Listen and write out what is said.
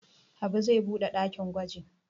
Habu zai buɗe ɗakin gwaji.